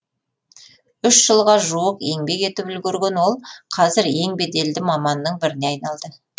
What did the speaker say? үш жылға жуық еңбек етіп үлгерген ол қазір ең беделді маманның біріне айналды